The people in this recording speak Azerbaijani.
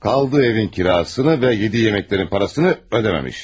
Qaldığı evin kirasını və yediyi yeməklərin parasını ödəməmiş.